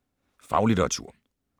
Faglitteratur